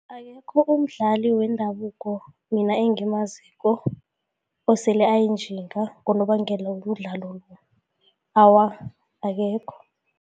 Akekho umdlali wendabuko mina engimaziko osele ayinjinga ngonobangela wemidlalo. Awa, akekho.